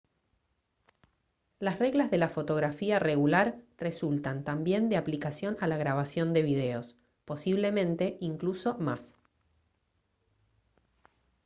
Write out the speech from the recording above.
las reglas de la fotografía regular resultan también de aplicación a la grabación de videos posiblemente incluso más